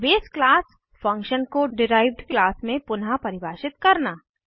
बसे class base class function को derived class में पुनः परिभाषित करना